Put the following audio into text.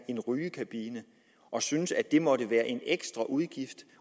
en rygekabine og syntes at det måtte være en ekstra udgift